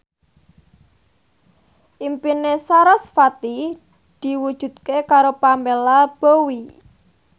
impine sarasvati diwujudke karo Pamela Bowie